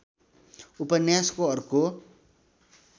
उपन्यासको अर्को